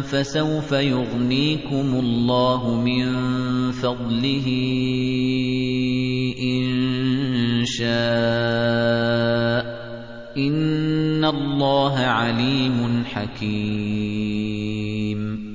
فَسَوْفَ يُغْنِيكُمُ اللَّهُ مِن فَضْلِهِ إِن شَاءَ ۚ إِنَّ اللَّهَ عَلِيمٌ حَكِيمٌ